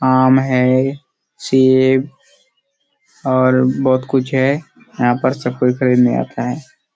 आम हैं सेब और बहोत कुछ हैं यहाँ पर सब कोई खरीदने आता हैं।